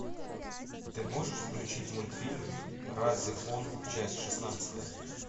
ты можешь включить мультфильм ра зефон часть шестнадцатая